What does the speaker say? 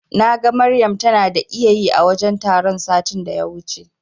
Naga Maryam tana ta iyayi a wajen taron satin da ya wuce.